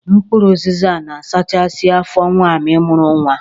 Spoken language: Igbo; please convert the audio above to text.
Mkpụrụ ụzịza na-asachasị afọ nwaanyi mụrụ nwa.